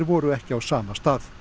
voru ekki á sama stað